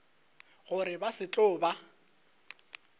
gore ba se tlo ba